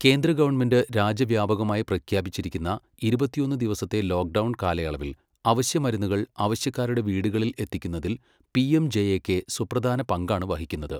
കേന്ദ്ര ഗവണ്മെന്റ് രാജ്യവ്യാപകമായി പ്രഖ്യാപിച്ചിരിക്കുന്ന ഇരുപത്തിയൊന്ന് ദിവസത്തെ ലോക്ഡൗൺ കാലയളവിൽ അവശ്യ മരുന്നുകൾ അവശ്യക്കാരുടെ വീടുകളിൽ എത്തിക്കുന്നതിൽ പിഎംജെഎകെ സുപ്രധാന പങ്കാണ് വഹിക്കുന്നത്.